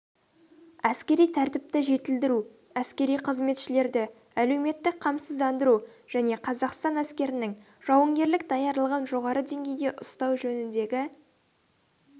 әскери тәртіпті жетілдіру әскери қызметшілерді әлеуметтік қамсыздандыру және қазақстан әскерінің жауынгерлік даярлығын жоғары деңгейде ұстау жөніндегі